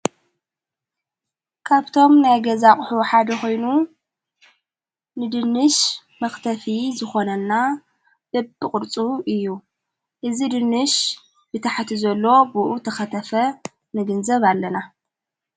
ካብቶም ናይ ገዛቕሑ ሓደ ኾይኑ ንድንሽ መኽተፊ ዝኾነና በብ ቕድፁ እዩ እዝ ድንሽ ብታሕቲ ዘሎ ቦእኡ ተኸተፈ ነግንዘብ ኣለና።